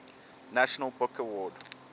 national book award